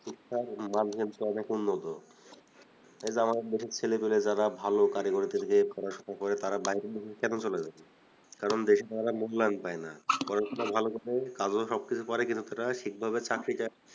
শিক্ষার মান ধ্যান অনেক উন্নত এই যে আমাদের দেশে ছেলেপিলে যারা ভালো কারিগরিতে গিয়ে পড়াশুনা করে তারা বাইরের দেশে কেন চলে যাচ্ছে কারণ দেশে তারা মূল্যায়ন পায় না পড়াশুনা ভালো করে কামেও সবকিছু পারে কিন্তু সেটা ঠিকভাবে চাকরিটা